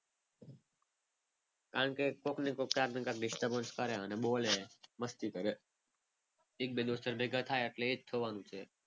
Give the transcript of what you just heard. કારણ કે કોઈકને કોક ક્યાંક ને ક્યાંક disturbance કરે અને બોલે અને મસ્તી કરે. એક બે દોસ્તાર ભેગા થાય એટલે એ જ થવાનું છે.